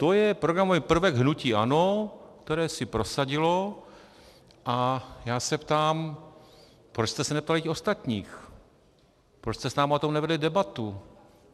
To je programový prvek hnutí ANO, který si prosadilo, a já se ptám: proč jste se neptali těch ostatních, proč jste s námi o tom nevedli debatu?